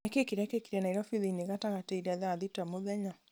nĩ kĩĩ kĩrekĩkire nairobi thĩinĩ gatagatĩ ira thaa thita mũthenya